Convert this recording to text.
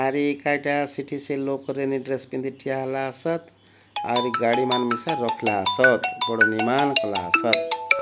ଆରି ଏକାଟା ସେଠି ସେ ଲୋକ୍ ରେନି ଡ୍ରେସ୍ ପିନ୍ଧି ଠିଆ ହେଲା ସତ୍ ଆହୁରି ଗାଡ଼ି ମାନେ ବି ସେ ରଖଲା ସତ୍ ବଡ଼୍ ମିମାନ୍ କଲା ସତ୍।